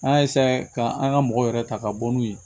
An y'a ka an ka mɔgɔw yɛrɛ ta ka bɔ n'u ye